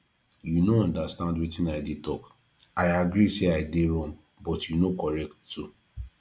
you no understand wetin i dey talk i agree say i dey wrong but you no correct too